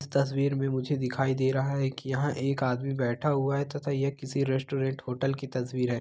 यह तस्वीर मे मुझे दिखाई दे रहा हैकी यह एक आदमी बैठा हुआ है तथा यह किसी रेस्टोरेंट होटल की तस्वीर है।